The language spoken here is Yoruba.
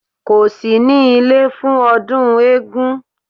Kò sí ní ilé fún ọdún eégún